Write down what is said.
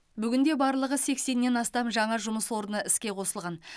бүгінде барлығы сексеннен астам жаңа жұмыс орны іске қосылған